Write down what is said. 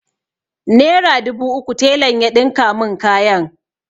Nera dubu uku telan ya ɗinka mun kayan.